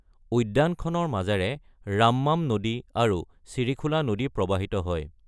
উদ্যানখনৰ মাজেৰে ৰাম্মাম নদী আৰু ছিৰিখোলা নদী প্ৰবাহিত হয়।